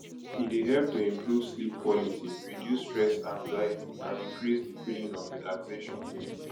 e dey help to improve sleep quality reduce stress anxiety and increase di feeling of relaxation